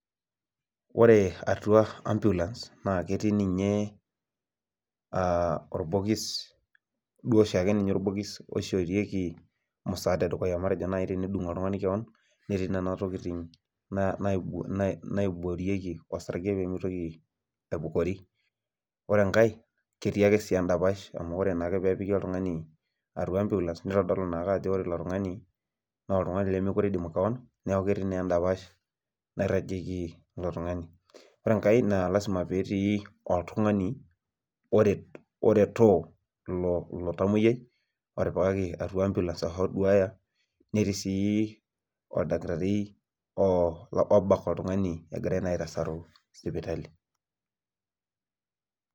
Ore atua ambulans naa ketii olbokis oshoorieki musaada edukuya ketii nena tokitin naiborieki olsarge pee mitoki aibukori, ore sii enkae ketii edapash amu ore naa ake oltung'ani opiki atua ambulans naa kitodolu naake ajo oltungani limidim kewan , ore enkae naa ilasima pee etii oltungani oretoo ilotamoyiai ashu oduya , netiii sii oldakitari obak oltungani egirae naa aitasaru sipitali.